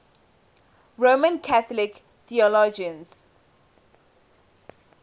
roman catholic theologians